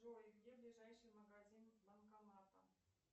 джой где ближайший магазин с банкоматом